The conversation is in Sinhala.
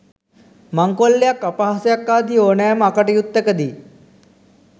මංකොල්ලයක් අපහාසයක් ආදී ඕනෑම අකටයුත්තක දී